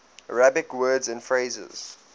arabic words and phrases